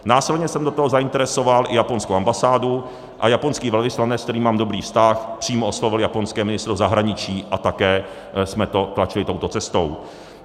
Následně jsem do toho zainteresoval i japonskou ambasádu, a japonský velvyslanec, s kterým mám dobrý vztah, přímo oslovil japonské ministerstvo zahraničí a také jsme to tlačili touto cestou.